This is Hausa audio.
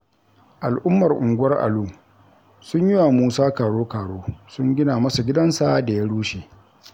Al'ummar unguwar Alu sun yi wa Musa karo-karo sun gina masa gidansa da ya rushe.